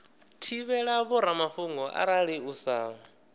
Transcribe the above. thivhela vhoramafhungo arali u sa